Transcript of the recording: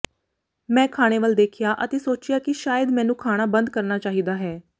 ਮੈਂ ਖਾਣੇ ਵੱਲ ਦੇਖਿਆ ਅਤੇ ਸੋਚਿਆ ਕਿ ਸ਼ਾਇਦ ਮੈਨੂੰ ਖਾਣਾ ਬੰਦ ਕਰਨਾ ਚਾਹੀਦਾ ਹੈ